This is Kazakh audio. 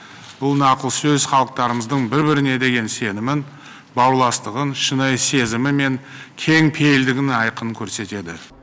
бұл нақыл сөз халықтарымыздың бір біріне деген сенімін бауырластығын шынайы сезімі мен кең пейілдігін айқын көрсетеді